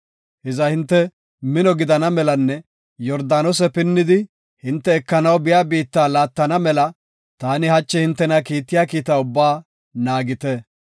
Hiza hinte mino gidana melanne Yordaanose pinnidi hinte ekanaw biya biitta laattana mela taani hachi hintena kiittiya kiita ubbaa naagite.